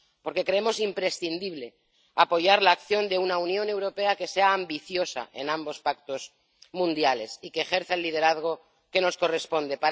Porque creemos imprescindible apoyar la acción de una Unión Europea que sea ambiciosa en ambos pactos mundiales, y que ejerza el liderazgo que nos corresponde.